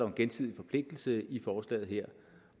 en gensidig forpligtelse i forslaget her